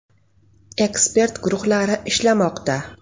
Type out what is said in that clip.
Ekspert guruhlari ishlamoqda.